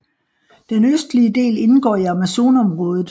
Den østlige del indgår i Amazonområdet